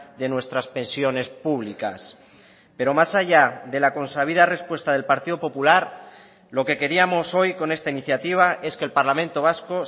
de nuestras pensiones públicas pero más allá de la consabida respuesta del partido popular lo que queríamos hoy con esta iniciativa es que el parlamento vasco